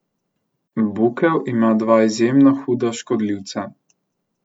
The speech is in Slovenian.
Bukev ima dva izjemno huda škodljivca.